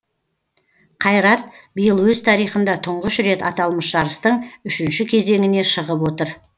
қайрат биыл өз тарихында тұңғыш рет аталмыш жарыстың үшінші кезеңіне шығып отыр